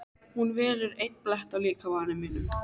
Hún velur einn blett á líkama mínum.